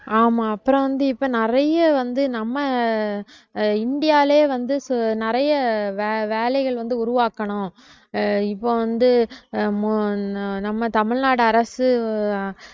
ஆமா அப்புறம் வந்து இப்ப நிறைய வந்து நம்ம ஆஹ் இந்தியாலயே வந்து நிறைய வே~ வேலைகள் வந்து உருவாக்கணும் ஆஹ் இப்ப வந்து ஆஹ் மோ~ ந~ நம்ம தமிழ்நாடு அரசு